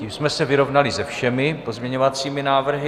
Tím jsme se vyrovnali se všemi pozměňovacími návrhy.